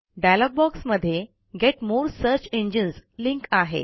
dialogue बॉक्समधे get more search engines link आहे